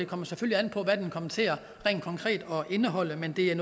kommer selvfølgelig an på hvad det konkret kommer til at indholde men det er